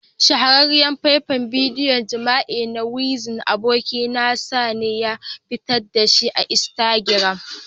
Shahararriyar faifan bidiyon jima'i na wizkid abokin nasa ne ya fitar da shi a Instagram.